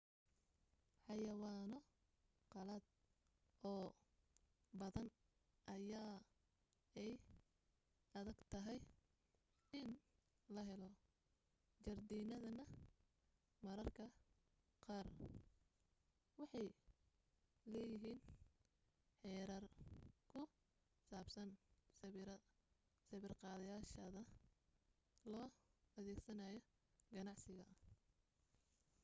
xayawaanno qalaad oo badan ayaa ay adagtahay in la helo jardiinadana mararka qaar waxay leeyihiin xeerar ku saabsan sawir-qaadashada loo adeegsanayo ganacsiga